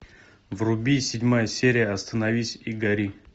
вруби седьмая серия остановись и гори